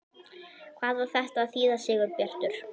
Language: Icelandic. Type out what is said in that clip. HVAÐ Á ÞETTA AÐ ÞÝÐA, SIGURBJARTUR?